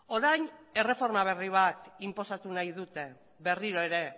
orain erreforma berri bat inposatu nahi dute berriro ere